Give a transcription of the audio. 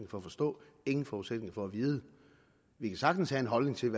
for at forstå ingen forudsætninger for at vide vi kan sagtens have en holdning til